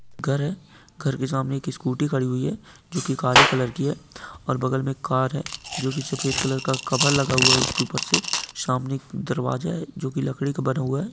घर है घर के सामने एक स्कूटी खड़ी हुई है जोकि काली कलर की है और बगल में कार है जोकि सफ़ेद कलर का कवर लगा हुआ है| उसके ऊपर से सामने एक दरवाजा है जोकि लड़की का बना हुआ है।